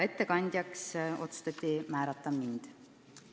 Ettekandjaks otsustati määrata mind.